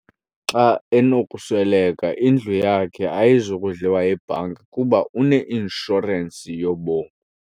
Xa enokusweleka indlu yakhe ayizi kudliwa yibhanki kuba une-inshorensi yobomi.